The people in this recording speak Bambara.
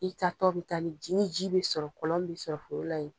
I taatɔ bɛ taa ni ji bɛ sɔrɔ kɔlɔn bɛ sɔrɔ foro la yen.